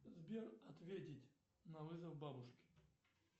сбер ответить на вызов бабушки